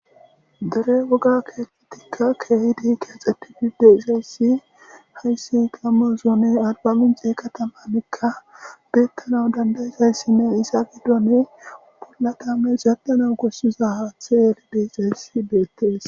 dere woga keehetikka keehidi keaxxetti gide ixayssi hayssi gamozone arbamincee katamanikka beettana dandayisayssinne isa giddone bolla tames zaddana gossiza haathe eli de ixayssi beettees